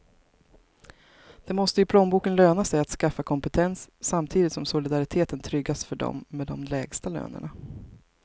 Det måste i plånboken löna sig att skaffa kompetens, samtidigt som solidariteten tryggas för dem med de lägsta lönerna.